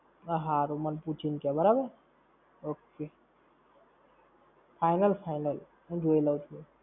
હા હારું. મને પૂછી ને કે બરાબર. Ok. Final Final. હું જોઈ લવ છું.